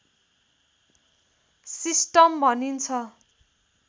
system भनिन्छ